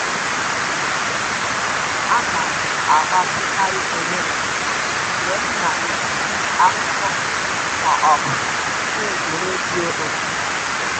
M na-emekarị mgbatị ahụ mgbe m na-ekiri akụkọ ma ọ bụ na-ege redio ụtụtụ.